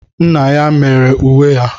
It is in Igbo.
Nna ya mere uwe ya.